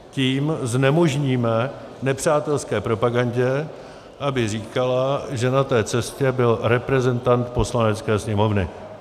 Tím znemožníme nepřátelské propagandě, aby říkala, že na té cestě byl reprezentant Poslanecké sněmovny.